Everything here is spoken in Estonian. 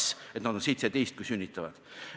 Nad oleks justkui 17, kui sünnitavad.